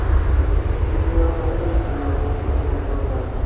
তুমি আৰু ময়েটো গৈছিলো আকৌ উভতি আনিবৰ কাৰণে